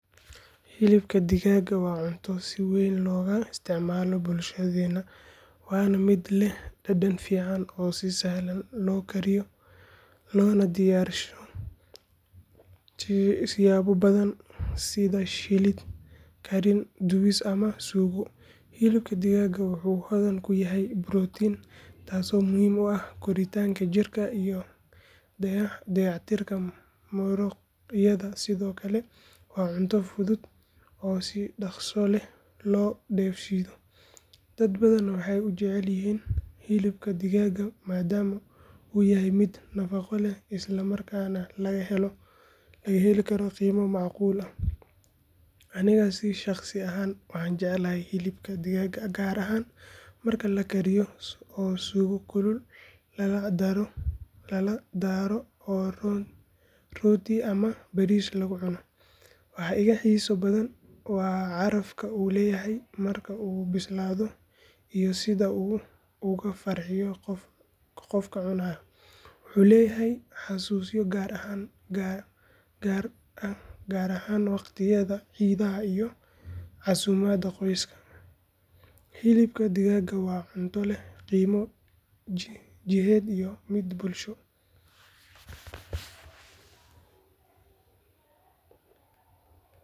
Hilibka digaagga waa cunto si weyn looga isticmaalo bulshadeenna waana mid leh dhadhan fiican oo si sahlan loo kariyo loona diyaarsado siyaabo badan sida shiilid, kariin, dubis ama suugo. Hilibka digaagga wuxuu hodan ku yahay borotiin taasoo muhiim u ah koritaanka jirka iyo dayactirka muruqyada sidoo kale waa cunto fudud oo si dhakhso leh loo dheefshiido. Dad badan waxay u jecel yihiin hilibka digaagga maadaama uu yahay mid nafaqo leh isla markaana laga heli karo qiimo macquul ah. Anigana si shaqsi ah waan jeclahay hilibka digaagga gaar ahaan marka la kariyo oo suugo kulul lala daro oo rooti ama bariis lagu cuno. Waxa iiga xiiso badan waa carafka uu leeyahay marka uu bislaado iyo sida uu uga farxiyo qofka cunaya. Wuxuu leeyahay xusuuso gaar ah gaar ahaan waqtiyada ciidaha iyo casuumadaha qoyska. Hilib digaag waa cunto leh qiimo jidheed iyo mid bulsho.